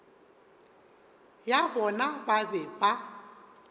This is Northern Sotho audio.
ya bona ba be ba